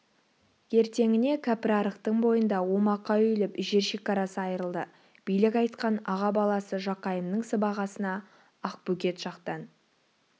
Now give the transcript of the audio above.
ертеңіне кәпірарықтың бойында омақа үйіліп жер шекарасы айырылды билік айтқан аға баласы жақайымның сыбағасына ақбөгет жақтан